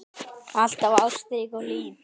Alltaf ástrík og hlý.